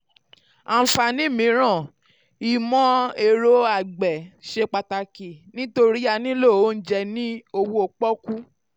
àǹfààní mìíràn: ìmọ̀-ẹ̀rọ um àgbẹ̀ ṣe àgbẹ̀ ṣe pàtàkì nítorí a nílò oúnjẹ ní owó pọ́kú.